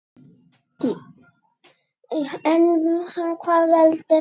En hvað veldur honum?